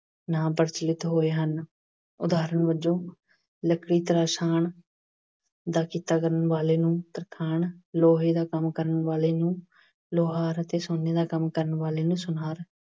ਨਾਂ ਪ੍ਰਚਲਿਤ ਹੋਏ ਹਨ। ਉਦਾਹਰਨ ਵਜੋਂ ਲੱਕੜੀ ਤਰਸ਼ਾਣ ਦਾ ਕਿੱਤਾ ਕਰਨ ਵਾਲੇ ਨੂੰ ਤਰਖਾਣ, ਲੋਹੇ ਦਾ ਕੰਮ ਕਰਨ ਵਾਲੇ ਨੂੰ ਲੁਹਾਰ ਅਤੇ ਸੋਨੇ ਦਾ ਕੰਮ ਕਰਨ ਵਾਲੇ ਨੂੰ ਸੁਨਾਰ